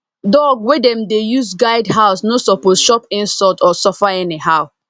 dog wey dem dey use guard house no suppose chop insult or suffer anyhow